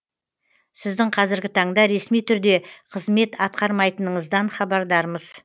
сіздің қазіргі таңда ресми түрде қызмет атқармайтыныңыздан хабардармыз